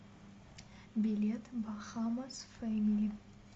билет бахамасфэмили